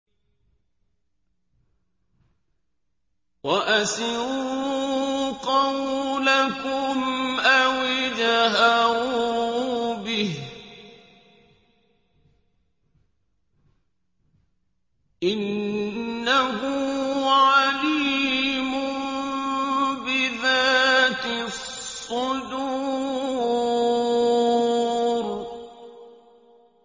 وَأَسِرُّوا قَوْلَكُمْ أَوِ اجْهَرُوا بِهِ ۖ إِنَّهُ عَلِيمٌ بِذَاتِ الصُّدُورِ